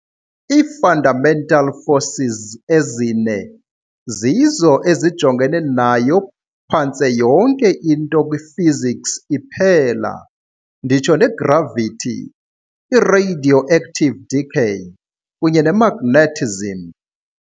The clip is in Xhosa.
Ii- fundamental forces ezine zizo ezijongene nayo phantse yonke into kwiphysics iphela, nditsho negravity, i-radioactive decay, kunye nemagnetism.